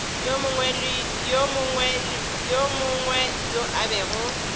yo mongwe yo a bego